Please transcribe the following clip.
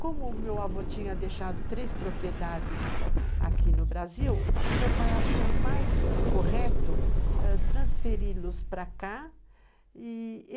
Como o meu avô tinha deixado três propriedades aqui no Brasil, o meu pai achou mais correto transferi-los ãh, para cá.